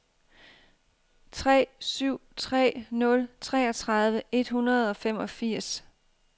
tre syv tre nul treogtredive et hundrede og femogfirs